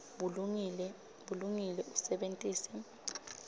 bulungile usebentise